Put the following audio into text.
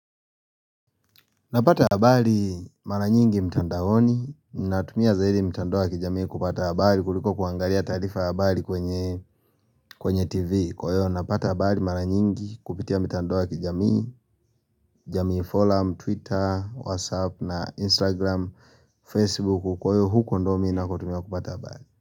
Napata habali mara nyingi mtandaoni na tumia za hili mtandoa kijamii kupata habali kuliko kuangalia tarifa abali kwenye kwenye tv Kwayo napata habali mara nyingi kupitia mtandoa kijamii jamii forum, twitter, whatsapp na instagram, facebook Kwayo huko ndo navo tumia kupata abali.